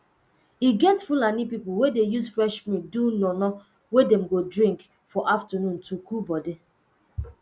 e get fulani people wey dey use fresh milk do nono wey dem go drink for afternoon to cool body